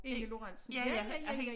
Inge Lorentzen ja ja ja ja